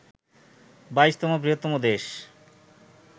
২২তম বৃহত্তম দেশ